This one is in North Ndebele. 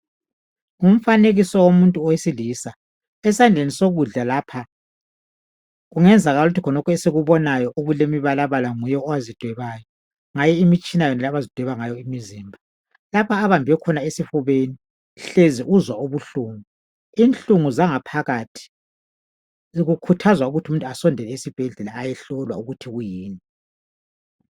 Ngumfanekiso womuntu wesilisa, esandleni sokudla lapha kungenzakala ukuthi esikubonayo okulemibalabala nguye owazidwebayo ngayo imitshina yonale abazidweba ngayo imizimba. Lapha abambe khona esifubeni uzwa ubuhlungu. Inhlungu zangaphakathi zikhuthaza ukuthi umuntu asondele esibhedlela ayehlolwa ukuthi kuyini.